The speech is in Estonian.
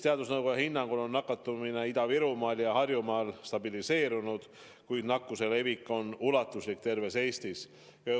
Teadusnõukoja hinnangul on nakatumine Ida-Virumaal ja Harjumaal stabiliseerunud, kuid nakkuse levik on ulatuslik terves Eestis.